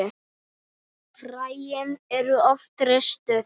Fræin eru oft ristuð.